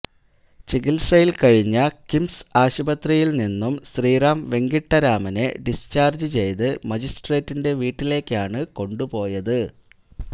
ചികിത്സയില് കഴിഞ്ഞ കിംസ് ആശുപത്രിയില് നിന്നും ശ്രീറാം വെങ്കിട്ടരാമനെ ഡിസ്ചാര്ജ് ചെയ്ത് മജിസ്ട്രേറ്റിന്റെ വീട്ടിലേക്കാണ് കൊണ്ടുപോയത്